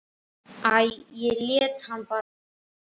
Æ, ég lét hann bara róa.